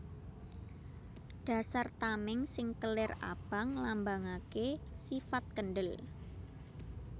Dasar tamèng sing kelir abang nglambangaké sifat kendhel